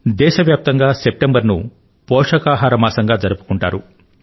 దేశవ్యాప్తంగా సెప్టెంబర్ ను పోషకాహార మాసం గా జరుపుకుంటారు